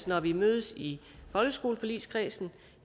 når vi mødes i folkeskoleforligskredsen